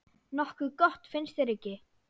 Nokkuð gott, finnst þér ekki?